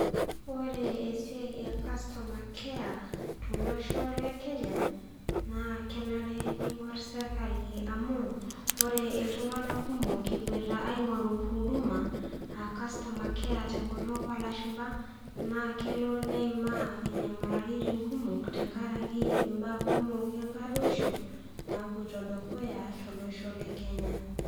Ore esiai e customer care, tolosho le Kenya, naa kenare neing'or sirkali amu, ore iltung'ana kumok ewuuoita aing'oru huduma, aa customer care te ennkutuk oo ilashumba, naa kelo neimaa inyamalitin kumok, tenkaraki imbaa kumok enkaruoisho, napuoita dukuya tolosho le Kenya.